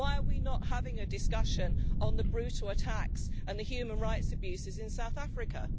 Why are we not having a discussion on the brutal attacks and the human rights abuses in South Africa?